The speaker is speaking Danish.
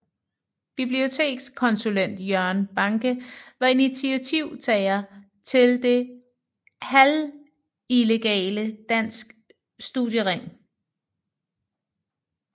Bibliotekskonsulent Jørgen Banke var initiativtager til det halvillegale Dansk Studiering